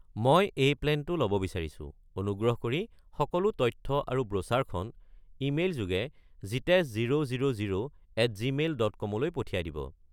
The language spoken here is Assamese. মই এই প্লেনটো ল’ব বিচাৰিছোঁ, অনুগ্ৰহ কৰি সকলো তথ্য আৰু ব্ৰোচাৰখন ইমেইল যোগে Jitesh zero zero zero at Gmail dot কম-লৈ পঠিয়াই দিব।